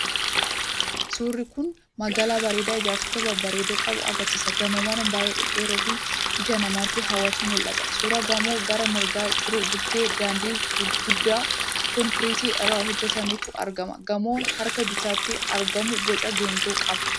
Suurri kun magaala bareedaa ijaarsota babbareedoo qabu agarsiisa. Gamoowwan baay'ee dhedheeroo fi ija namaatti hawwatantu mul'ata. Suura gamoo gara mirgaa jiru bukkee daandii guddaa konkiriitii irraa hojjetametu argama. Gamoon harka bitaatti argamu boca geengoo qaba.